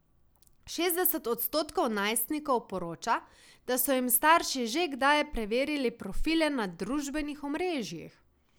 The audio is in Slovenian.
Šestdeset odstotkov najstnikov poroča, da so jim starši že kdaj preverili profile na družbenih omrežjih.